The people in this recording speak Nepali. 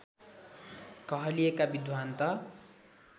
कहलिएका विद्वान् त